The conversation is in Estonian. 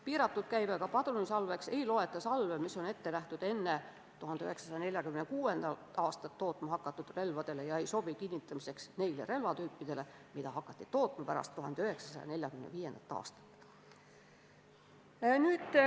Piiratud käibega padrunisalveks ei loeta salve, mis on ette nähtud enne 1946. aastat tootma hakatud relvadele ega sobi kinnitamiseks seda tüüpi relvadele, mida hakati tootma pärast 1945. aastat.